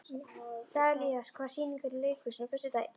Dalía, hvaða sýningar eru í leikhúsinu á föstudaginn?